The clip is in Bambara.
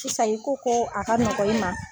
Sisan i ko ko a ka nɔgɔ i ma